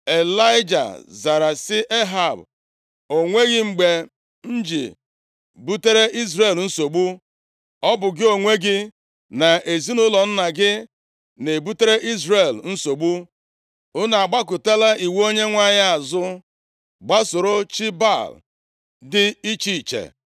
Ịlaịja zara sị Ehab, “O nweghị mgbe m ji butere Izrel nsogbu. Ọ bụ gị onwe gị na ezinaụlọ nna gị na-ebutere Izrel nsogbu. Unu agbakụtala iwu Onyenwe anyị azụ, gbasoro chi Baal dị iche iche. + 18:18 \+xt 1Ez 16:30-33\+xt*